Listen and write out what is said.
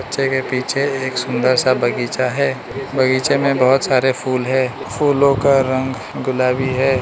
बच्चे के पीछे एक सुंदर सा बगीचा है बगीचे में बहुत सारे फूल है फूलों का रंग गुलाबी है।